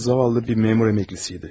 Ölən yazığ bir məmur təqaüdçüsü idi.